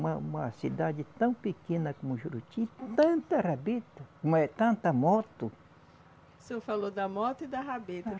Uma uma cidade tão pequena como Juruti, tanta rabeta, tanta moto. O senhor falou da moto e da rabeta.